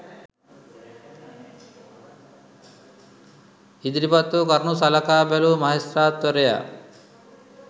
ඉදිරිපත් වූ කරුණු සලකා බැලූ මහෙස්ත්‍රාත්වරයා